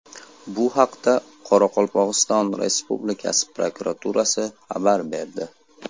Bu haqda Qoraqalpog‘iston Respublikasi prokuraturasi xabar berdi .